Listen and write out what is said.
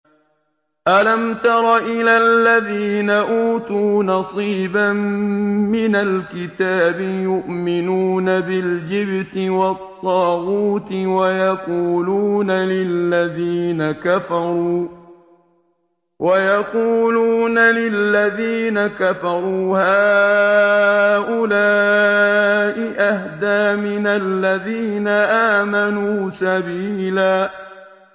أَلَمْ تَرَ إِلَى الَّذِينَ أُوتُوا نَصِيبًا مِّنَ الْكِتَابِ يُؤْمِنُونَ بِالْجِبْتِ وَالطَّاغُوتِ وَيَقُولُونَ لِلَّذِينَ كَفَرُوا هَٰؤُلَاءِ أَهْدَىٰ مِنَ الَّذِينَ آمَنُوا سَبِيلًا